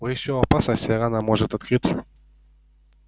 вы ещё в опасности рана может открыться